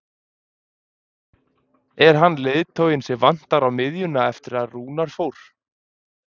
Er hann leiðtoginn sem vantar á miðjuna eftir að Rúnar fór?